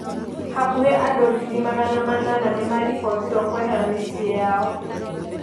Hakuhĩ andũngiri magana manana nĩmarĩbotirwo kwehera mĩciĩ yao.